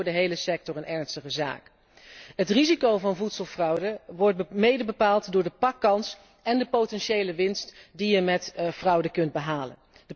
Dat lijkt me voor de hele sector een ernstige zaak. Het risico van voedselfraude wordt mede bepaald door de pakkans en de potentiële winst die je met fraude kunt behalen.